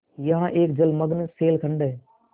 यहाँ एक जलमग्न शैलखंड है